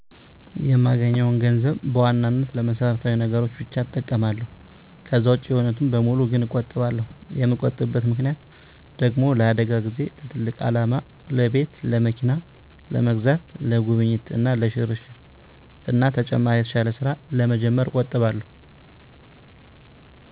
የማገኘውን ገንዘብ በዋናነት ለመሰረታዊ ነገሮች ብቻ እጠቀማለሁ። ከዛ ውጭ የሆኑትን በሙሉ ግን እቆጥባለሁ። የምቆጥብበት ምክንያት ደግሞ ለአደጋ ጊዜ፣ ለትልቅ አላማ ለቤት፣ ለመኪና ለመግዛት፣ ለጉብኝት እና ለሽርሽር እና ተጨማሪ የተሻለ ስራ ለመጀመር እቆጥባለሁ።